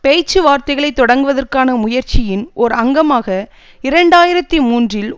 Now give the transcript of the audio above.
பேச்சு வார்த்தைகளை தொடக்குவதற்கான முயற்சியின் ஓர் அங்கமாக இரண்டு ஆயிரத்தி மூன்றில்